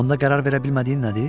Onda qərar verə bilmədiyin nədir?